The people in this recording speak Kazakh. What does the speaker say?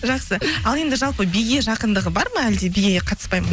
жақсы ал енді жалпы биге жақындығы бар ма әлде биге қатыспайды ма